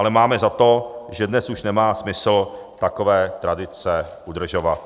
Ale máme za to, že dnes už nemá smysl takové tradice udržovat.